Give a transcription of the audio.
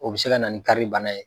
O bɛ se ka na ni karili bana ye.